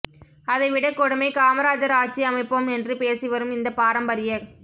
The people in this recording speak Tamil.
அதை விட கொடுமை காமராஜர் ஆட்சி அமைப்போம் என்று பேசி வரும் இந்த பாரம்பரியக்